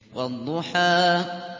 وَالضُّحَىٰ